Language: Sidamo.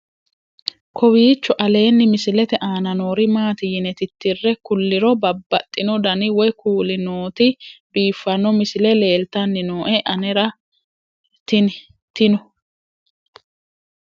kowiicho aleenni misilete aana noori maati yine titire kulliro babaxino dani woy kuuli nooti biiffanno misile leeltanni nooe anera tino